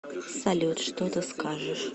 салют что ты скажешь